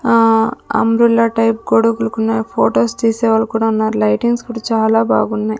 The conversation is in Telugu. ఆ అంబ్రెల్లా టైప్ గొడుగులు కూన్నాయి ఫొటోస్ తీసే వాళ్ళు కూడా ఉన్నారు లైటింగ్స్ కూడా చాలా బాగున్నాయి.